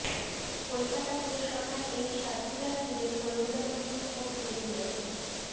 কলকাতা পুরসভার এই সার্কুলার ঘিরে কর্মীদের মধ্যে ক্ষোভ তৈরি হয়েছে